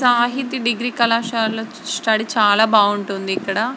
Sahiti degree కళాశాలలో study చాలా బాగుంటుంది ఇక్కడ.